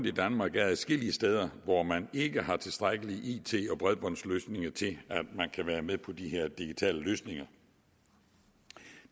i danmark er adskillige steder hvor man ikke har tilstrækkelige it og bredbåndsløsninger til at man kan være med på de her digitale løsninger